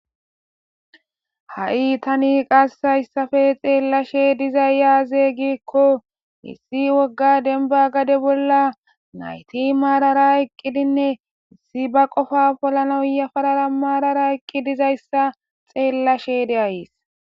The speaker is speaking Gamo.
ha7i tani qassayssafe xeellashe dizay yaaze gikko issi wogga denba gade bolla nayti maarara iqqidinne issi ba qofa polanoyafarara maarara eqqi dizayssa xeellashe de7ayis